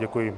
Děkuji.